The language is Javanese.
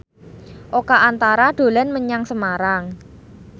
Oka Antara dolan menyang Semarang